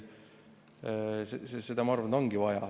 Seda, ma arvan, ongi vaja.